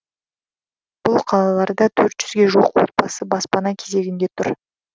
бұл қалаларда төрт жүзге жуық отбасы баспана кезегінде тұр